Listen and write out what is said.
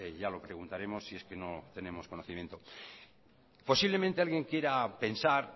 ya lo preguntaremos si es que no tenemos conocimiento posiblemente alguien quiera pensar